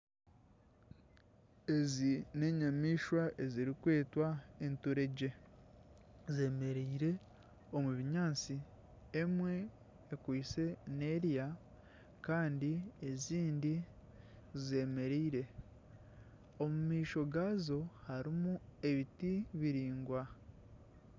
Ezi neenyamaishwa ezirikwetwa enturegye, zeemereire omu binyaatsi emwe ekwitse nerya kandi ezindi zeemereire omu maisho gaazo harimu ebiti biraingwa